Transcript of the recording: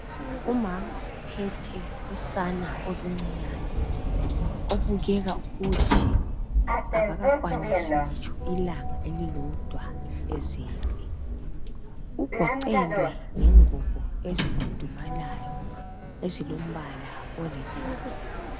Umama uphethe usana oluncinyane obukeka ukuthi akakakwanisi ngitsho ilanga elilodwa ezelwe ugoqelwe ngengubo ezikhudumalayo ezilombala olithanga.